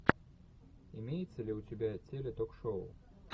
имеется ли у тебя теле ток шоу